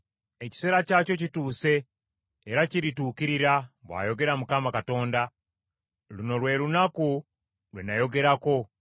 Ekiseera kyakyo kituuse era kirituukirira, bw’ayogera Mukama Katonda. Luno lwe lunaku lwe nayogerako.